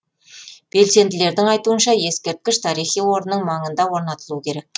белсенділердің айтуынша ескерткіш тарихи орынның маңында орнатылуы керек